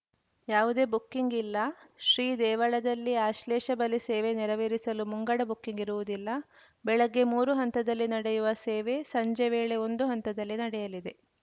ಯಾವುದೇ ಬುಕ್ಕಿಂಗ್‌ ಇಲ್ಲ ಶ್ರೀ ದೇವಳದಲ್ಲಿ ಆಶ್ಲೇಷ ಬಲಿ ಸೇವೆ ನೆರವೇರಿಸಲು ಮುಂಗಡ ಬುಕ್ಕಿಂಗ್‌ ಇರುವುದಿಲ್ಲ ಬೆಳಗ್ಗೆ ಮೂರು ಹಂತದಲ್ಲಿ ನಡೆಯುವ ಸೇವೆ ಸಂಜೆ ವೇಳೆ ಒಂದು ಹಂತದಲ್ಲಿ ನಡೆಯಲಿದೆ